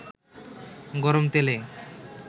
গরম তেলে